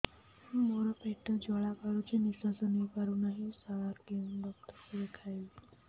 ମୋର ପେଟ ଜ୍ୱାଳା କରୁଛି ନିଶ୍ୱାସ ନେଇ ପାରୁନାହିଁ ସାର କେଉଁ ଡକ୍ଟର କୁ ଦେଖାଇବି